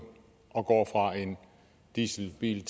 og går fra en dieselbil